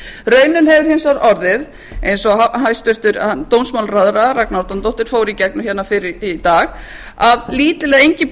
raunin hefur hins vegar orðið eins og hæstvirtur dómsmálaráðherra ragna árnadóttir fór í gegnum hérna fyrr í dag að lítil eða engin breyting